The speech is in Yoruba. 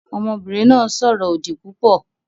Ọmọbìnrin náà ń sọ̀rọ̀ òdì púpọ̀